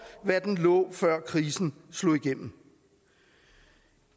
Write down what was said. hvad den lå på før krisen slog igennem